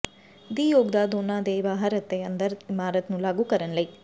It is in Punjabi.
ਦੀ ਯੋਗਤਾ ਦੋਨੋ ਦੇ ਬਾਹਰ ਹੈ ਅਤੇ ਅੰਦਰ ਇਮਾਰਤ ਨੂੰ ਲਾਗੂ ਕਰਨ ਲਈ